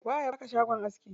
Waye ya baka shagon aski?